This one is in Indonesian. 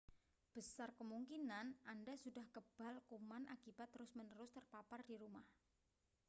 besar kemungkinan anda sudah kebal kuman akibat terus-menerus terpapar di rumah